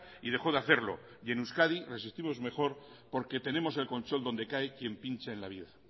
y dejó de hacerlo y en euskadi resistimos mejor porque tenemos el colchón donde cae quien pincha en la vida